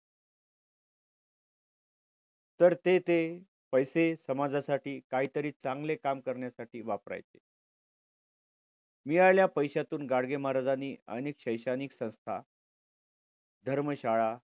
तर ते ते पैसे समाजासाठी काहीतरी चांगले काम करण्यासाठी वापरायचे. मिळालेल्या पैशातून गाडगे महाराजांनी पाण्यात शैक्षणिक संस्था धर्मशाळा